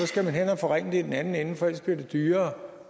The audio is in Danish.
skal hen at forringe det i den anden ende ellers bliver det dyrere